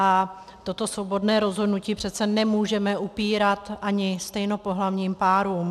A toto svobodné rozhodnutí přece nemůžeme upírat ani stejnopohlavním párům.